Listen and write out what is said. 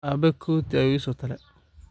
Abe koti ayu iisotole.